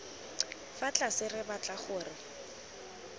fa tlase re batla gore